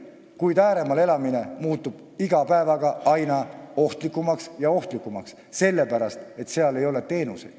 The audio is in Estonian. Kuid ääremaal elamine muutub iga päevaga aina ohtlikumaks ja ohtlikumaks, sellepärast et seal ei ole teenuseid.